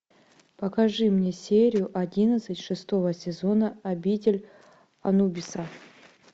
покажи мне серию одиннадцать шестого сезона обитель анубиса